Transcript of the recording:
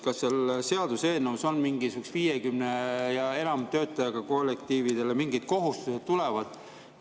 Kas seal seaduseelnõus 50 ja enama töötajaga kollektiividele mingid kohustused tulevad?